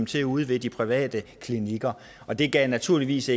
til ude i de private klinikker og det gav naturligvis